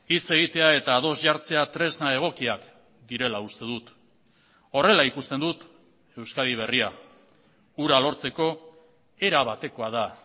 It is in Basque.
hitz egitea eta ados jartzea tresna egokiak direla uste dut horrela ikusten dut euskadi berria hura lortzeko era batekoa da